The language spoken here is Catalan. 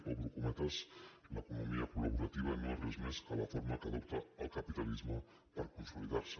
obro cometes l’economia col·més que la forma que adopta el capitalisme per consolidar se